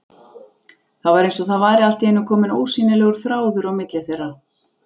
Það var eins og það væri allt í einu kominn ósýnilegur þráður á milli þeirra.